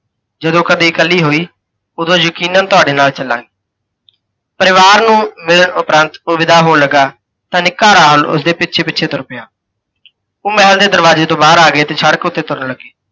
ਜਦੋਂ ਕਦੇ ਇਕੱਲੀ ਹੋਈ, ਓਧੋਂ ਯਕੀਨਨ ਤੁਹਾਡੇ ਨਾਲ ਚਲਾਂਗੀ। ਪਰਿਵਾਰ ਨੂੰ ਮਿਲਣ ਉਪਰੰਤ ਓਹ ਵਿਦਾ ਹੋਣ ਲੱਗਾ, ਤਾਂ ਨਿੱਕਾ ਰਾਹੁਲ ਉਸਦੇ ਪਿੱਛੇ -ਪਿੱਛੇ ਤੁਰ ਪਿਆ ਓਹ ਮਹਿਲ ਦੇ ਦਰਵਾਜ਼ੇ ਤੋਂ ਬਾਹਰ ਆ ਗਏ ਤੇ ਸੜਕ ਉੱਤੇ ਤੁਰਨ ਲੱਗੇ।